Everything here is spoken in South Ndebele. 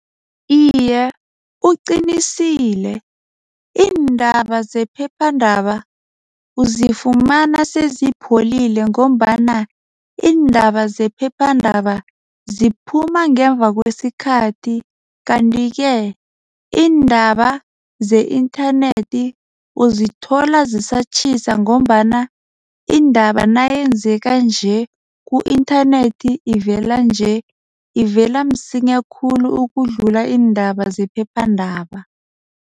Iye, uqinisile iindaba zephepha iindaba uzifumana sezipholile ngombana iindaba zephephandaba ziphuma ngemva kwesikhathi. Kanti-ke indaba ze-internet uzithola zisatjhisa ngombana indaba nayenzeka nje ku-internet ivela nje ivela msinya khulu ukudlula iindaba zephephandaba.